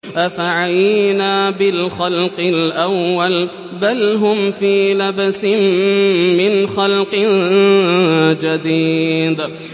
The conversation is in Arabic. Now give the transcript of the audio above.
أَفَعَيِينَا بِالْخَلْقِ الْأَوَّلِ ۚ بَلْ هُمْ فِي لَبْسٍ مِّنْ خَلْقٍ جَدِيدٍ